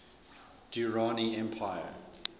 durrani empire